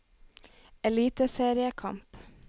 eliteseriekamp